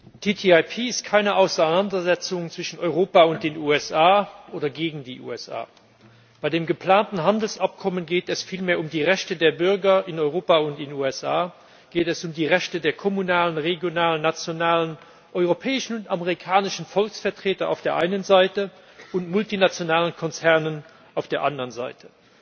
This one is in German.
Frau Präsidentin! Die TTIP ist keine Auseinandersetzung zwischen Europa und den USA oder gegen die USA. Bei dem geplanten Handelsabkommen geht es vielmehr um die Rechte der Bürger in Europa und in den USA, geht es um die Rechte der kommunalen, regionalen, nationalen, europäischen und amerikanischen Volksvertreter auf der einen Seite und der multinationalen Konzerne auf der anderen Seite.